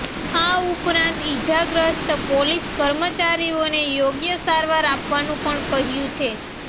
આ ઉપરાંત ઈજાગ્રસ્ત પોલીસ કર્મચારીઓને યોગ્ય સારવાર આપવાનું પણ કહ્યું છે